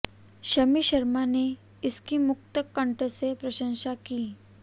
शमी शर्मा ने इसकी मुक्त कंठ से प्रशंसा की